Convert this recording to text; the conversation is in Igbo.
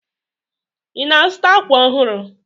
Ị na-azụta àkwà ọhụrụ?